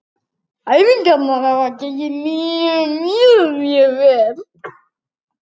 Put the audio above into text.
Æfingar hafa gengið mjög vel.